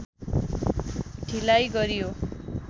ढिलाइ गरियो